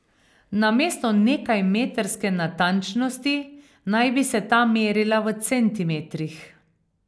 Namesto nekajmetrske natančnosti naj bi se ta merila v centimetrih.